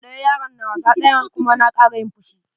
Ɗaya yaron na wasa ɗayan kuma na kara yin fushi.